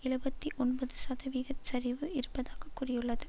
எழுபத்தி ஒன்பது சதவிகிதச் சரிவு இருப்பதாக கூறியுள்ளது